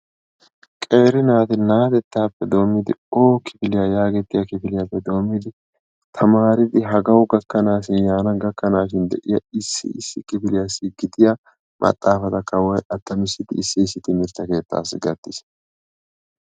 Qeeri naati na'atettaappe doommidi oo kifiliyaa yaagettiyaa kifiliyappe doommidi taamaridi hagawu gakaanashin yaana gakkaanshin de'iyaa issi kifiliaassi gidiyaa maxaafata kaawoy attamisidi issi issi timirtte keettaasi gattiis.